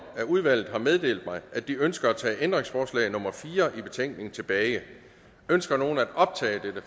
af udvalget har meddelt mig at de ønsker at tage ændringsforslag nummer fire i betænkningen tilbage ønsker nogen at optage dette